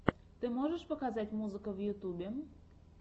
ты можешь показать музыка в ютьюбе